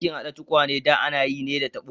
Aikin hada tukwane da ana yi ne da tabo.